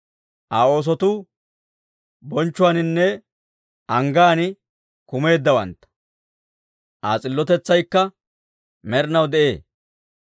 Aa oosotuu bonchchuwaaninne anggan kumeeddawantta. Aa s'illotetsaykka med'inaw de'ee.